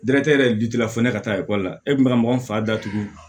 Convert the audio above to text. Danatigɛ yɛrɛ jula fɔ ne ka taa ekɔli la e kun be ka mɔgɔ min fa da tugun